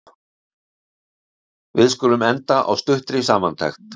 Við skulum enda á stuttri samantekt.